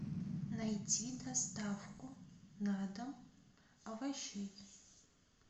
найти доставку на дом овощей